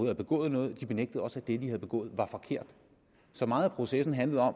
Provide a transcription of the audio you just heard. har begået noget og de benægter også at det de har begået var forkert så meget af processen handler